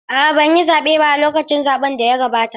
A'a ban yi zaɓe ba a lokacin zaɓen da ya gabata.